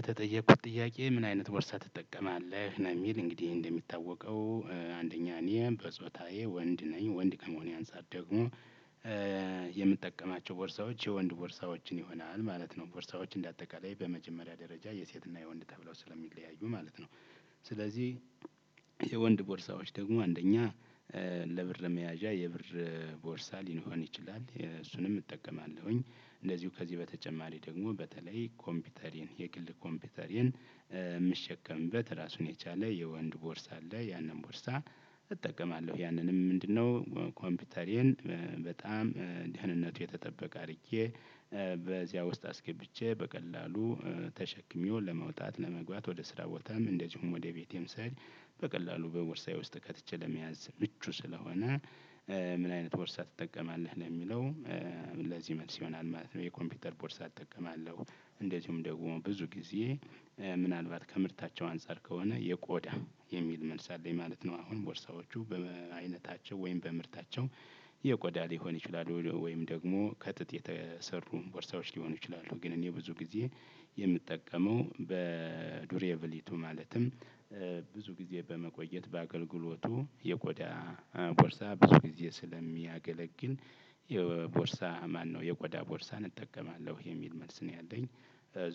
የተጠየኩት ጥያቄ ምን አይነት ቦርሳ ትጠቀማለህ? ነው የሚል እንግዲህ እንደሚታወቀው አንደኛ እኔ በጾታዬ ወንድ ነኝ። ወንድ ከመሆኔ አንፃር ደግሞ እ የምጠቀማቸው ቦርሳዎች የወንድ ቦርሳዎችን ይሆናል ማለት ነው። ቦርሳዎች እንደ አጠቃላይ በመጀመሪያ ደረጃ የሴትና የወንድ ተብለው ስለሚለያዩ ማለት ነው። ስለዚህ የወንድ ቦርሳወች ደግሞ አንደኛ እም ለብር መያዣ የብር ቦርሳ ሊኖረውን ይችላል። የእሱንም እጠቀማለሁኝ። እንደዚሁ ከዚህ በተጨማሪ ደግሞ በተለይ ኮምፒውተሪን የግል ኮምፒውተሪን የምሸከምበት ራሱን የቻለ የወንድ ቦርሳ አለ። ያንን ቦርሳ እጠቀማለሁ። ያንንም ምንድነው ኮምፒውተሬን በጣም ደህንነቱ የተጠበቀ አድርጌ በዚያ ውስጥ አስገብቼ በቀላሉ ተሸክሜው ለመውጣት፣ ለመግባት፣ ወደ ስራ ቦታም እንደዚሁም ወደ ቤቴም ስሄድ በቀላሉ በቦርሳዬ ውስጥ ከትቼ ለመያዝ ምቹ ስለሆነ። ምን አይነት ቦርሳ ትጠቀማለህ ለሚለው እ ለዚህ መልስ ይሆናል ማለት ነው። የኮምፒውተር ቦርሳ እጠቀማለሁ። እንደዚሁም ደግሞ ብዙ ጊዜ ምናልባት ከምርታቸው አንፃር ከሆነ የቆዳ የሚል መልስ አለኝ ማለት ነው። አሁን ቦርሳዎቹ በአይነታቸው ወይም በምርታቸው የቆዳ ሊሆን ይችላል። ወይም ደግሞ ከጥጥ የተሰሩ ቦርሳዎች ሊሆኑ ይችላሉ። ግን እኔ ብዙ ጊዜ የምጠቀመው በዱሬብልቲው ማለትም ብዙ ጊዜ በመቆየት በአገልግሎቱ የቆዳ ቦርሳ ብዙ ጊዜ ስለሚያገለግል የቦርሳ ማነው የቆዳ ቦርሳ እጠቀማለሁ። የሚል መልስ ነው ያለኝ።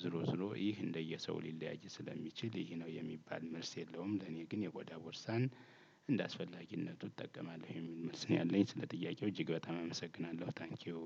ዝሮ ዙሮ ይህ እንደየሰው ሊለያይ ስለሚችል ይህ ነው። የሚባል መልስ የለውም። ለኔ ግን የቆዳ ቦርሳን እንደ አስፈላጊነቱ እጠቀማለሁ። የሚል መልስ ነው ያለኝ ስለ ጥያቄው እጅግ በጣም አመሰግናለሁ ታንኪው።